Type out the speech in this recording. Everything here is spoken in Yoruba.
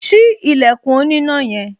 Ṣí ilẹ̀kùn oníná yẹn